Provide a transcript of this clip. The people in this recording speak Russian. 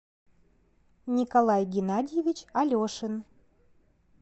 николай геннадьевич алешин